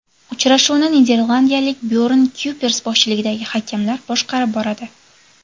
Uchrashuvni niderlandiyalik Byorn Kuypers boshchiligidagi hakamlar boshqarib boradi.